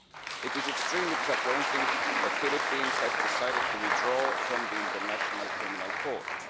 It is extremely disappointing that the Philippines has decided to withdraw from the International Criminal Court.